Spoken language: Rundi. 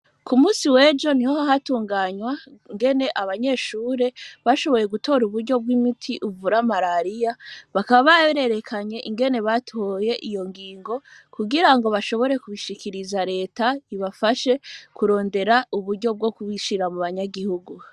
Ku musi wejo ni ho hatunganywa ngene abanyeshure bashoboye gutora uburyo bw'imiti uvura marariya bakababarerekanye ingene batoye iyo ngingo kugira ngo bashobore kubishikiriza leta ibafashe kurondera uburyo bwo kubishira mu banyagihugu.